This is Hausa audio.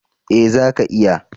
Eh, zaka iya